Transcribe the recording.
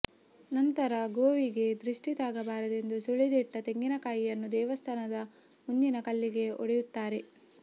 ನಂತರ ಗೋವಿಗೆ ದೃಷ್ಠಿ ತಾಗಬಾರದೆಂದು ಸುಳಿದಿಟ್ಟ ತೆಂಗಿನಕಾಯಿಯನ್ನು ದೇವಸ್ಥಾನದ ಮುಂದಿನ ಕಲ್ಲಿಗೆ ಒಡೆಯುತ್ತಾರೆ